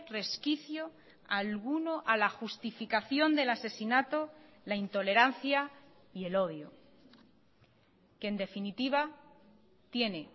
resquicio alguno a la justificación del asesinato la intolerancia y el odio que en definitiva tiene